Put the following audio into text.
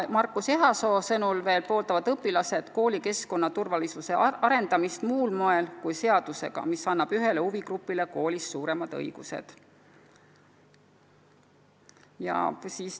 Marcus Ehasoo sõnul pooldavad õpilased koolikeskkonna turvalisuse suurendamist muul moel kui seadusega, mis annab ühele huvigrupile koolis suuremad õigused.